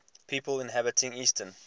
people inhabiting eastern